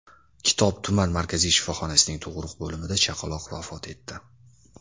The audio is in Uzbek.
Kitob tuman markaziy shifoxonasining tug‘uruq bo‘limida chaqaloq vafot etdi.